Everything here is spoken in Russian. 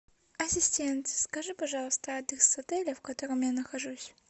ассистент скажи пожалуйста адрес отеля в котором я нахожусь